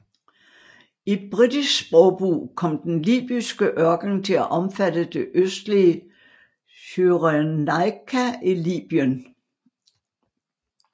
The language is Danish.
I britisk sprogbrug kom den libyske ørken til at omfatte det østlige Cyrenaica i Libyen